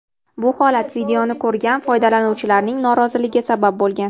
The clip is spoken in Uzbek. Bu holat videoni ko‘rgan foydalanuvchilarining noroziligiga sabab bo‘lgan.